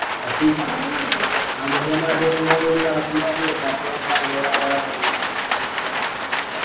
പക്ഷെ ഈ സ സാമൂഹ്യ മാധ്യമങ്ങളിൽ നടക്കുന്ന യാഥാർഥ്യമെന്ന് താങ്കളോട് ആരാ പറഞ്ഞത്